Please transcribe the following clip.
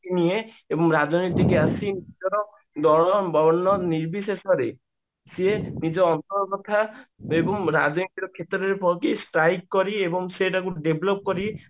ନାହିଁ ଏବଂ ରାଜନୀତିକୁ ଆସି ନିଜର ନିର୍ବିଶେଷରେ ସିଏ ନିଜ ଉପର ତଥା ଏବଂ ରାଜନୈତିକ କ୍ଷେତ୍ରରେ କରି ଏବଂ ସେଇଟାକୁ develop କରି